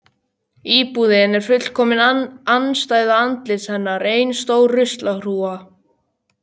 Íbúðin er fullkomin andstæða andlits hennar: Ein stór rusla hrúga.